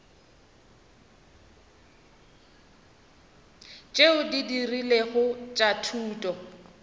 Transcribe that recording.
tšeo di rilego tša thuto